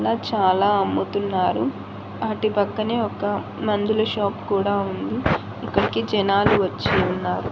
ఇక్కడ చాలా అమ్ముతున్నారు వాటిపక్కనే ఒక మందుల షాప్ కూడా ఉంది ఇక్కడికి జనాలు వచ్చి ఉన్నారు.